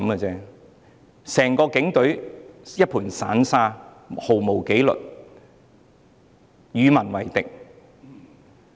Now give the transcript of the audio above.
整個警隊如同一盤散沙，毫無紀律，與民為敵。